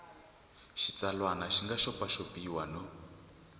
xitsalwana xi nga xopaxopiwa no